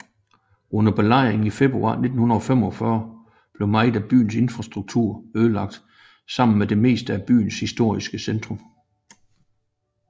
Under belejringen i februar 1945 blev meget af byens infrastruktur ødelagt sammen med det meste af byens historiske centrum